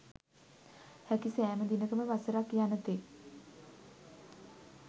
හැකි සෑම දිනකම වසරක් යන තෙක්